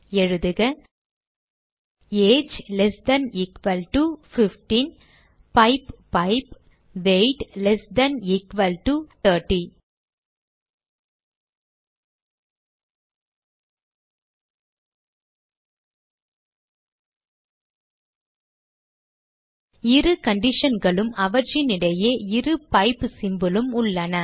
எழுதுக age less than equal to 15 pipe pipe weight less than equal to 30 இரு conditionகளும் அவற்றினிடையே இரு பைப் symbol உம் உள்ளன